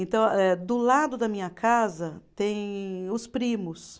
Então eh, do lado da minha casa tem os primos.